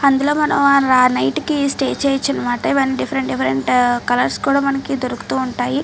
అందులో మనం ఆ ర-నైట్ కి స్టే చేయచ్చు అనిమాట డిఫరెంట్ డిఫరెంట్ కలర్స్ కూడా మనకి దొరుకుతూ ఉంటాయి.